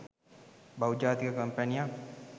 බහුජාතික කොම්පැනියක්